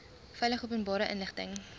veilig openbare inligting